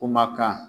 Kumakan